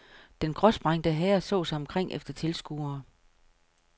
Den gråsprængte herre så sig omkring efter tilskuere.